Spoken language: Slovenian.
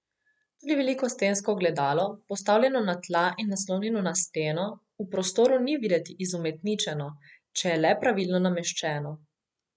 Tudi veliko stensko ogledalo, postavljeno na tla in naslonjeno na steno, v prostoru ni videti izumetničeno, če je le pravilno nameščeno.